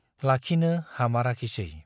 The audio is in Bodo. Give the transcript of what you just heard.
लाखिनो हामाराखिसै।